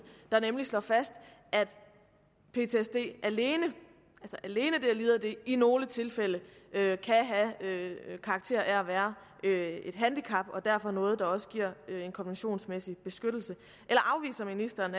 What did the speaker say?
nemlig slår fast at ptsd alene alene at lide af det i nogle tilfælde kan have karakter af at være et handicap og derfor noget der også giver en konventionsmæssig beskyttelse eller afviser ministeren